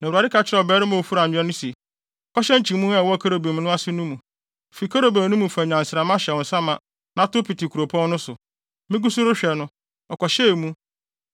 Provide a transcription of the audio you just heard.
Na Awurade ka kyerɛɛ ɔbarima a ofura nwera no se, “Kɔhyɛ nkyimii a ɛwɔ kerubim ase no mu. Fi kerubim no mu fa nnyansramma hyɛ wo nsa ma na tow pete kuropɔn no so.” Migu so rehwɛ no, ɔkɔhyɛɛ mu.